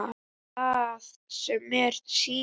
Er það sem mér sýnist?